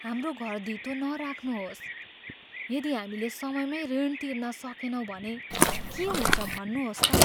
हाम्रो घर धितो नराख्नुहोस्। यदि हामीले समयमै ऋण तिर्न सकेनौँ भने के हुन्छ भन्नुहोस् त?